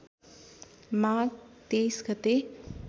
माघ २३ गते